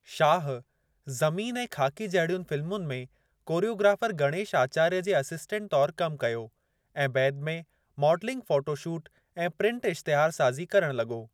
शाह ज़मीन ऐं ख़ाकी जहिड़ियुनि फ़िलमुनि में कोरियोग्राफर गणेश अचार्य जे असिस्टंट तौर कमु कयो ऐं बैदि में माडलिंग फ़ोटो शूट ऐं प्रिंट इश्तिहारसाज़ी करणु लॻो।